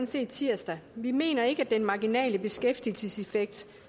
set i tirsdags vi mener ikke at den marginale beskæftigelseseffekt